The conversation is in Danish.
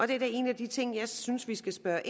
det er en af de ting jeg synes vi skal spørge